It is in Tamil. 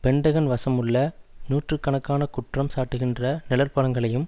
பென்டகன் வசமுள்ள நூற்று கணக்கான குற்றம் சாட்டுகின்ற நிழற்படங்களையும்